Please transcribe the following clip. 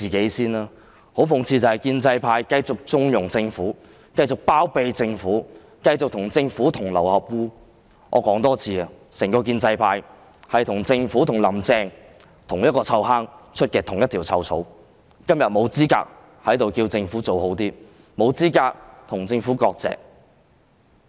可是，很諷刺的是，建制派繼續縱容及包庇政府，繼續與政府同流合污，我要說多一次，整個建制派與政府和"林鄭"同樣是臭罌出臭草，今天沒有資格在此要求政府做好一點，沒有資格與政府割席。